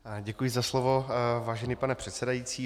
Děkuji za slovo, vážený pane předsedající.